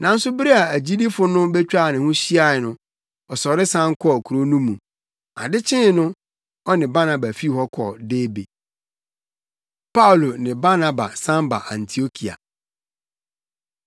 Nanso bere a agyidifo no betwaa ne ho hyiae no, ɔsɔre san kɔɔ kurow no mu. Ade kyee no ɔne Barnaba fii hɔ kɔɔ Derbe. Paulo Ne Barnaba San Ba Antiokia